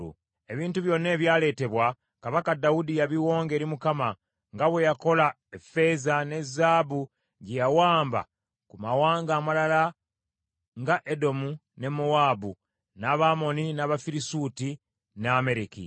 Ebintu byonna ebyaleetebwa, kabaka Dawudi yabiwonga eri Mukama , nga bwe yakola effeeza ne zaabu gye yawamba ku mawanga amalala nga Edomu ne Mowaabu, n’Abamoni, n’Abafirisuuti, ne Amaleki.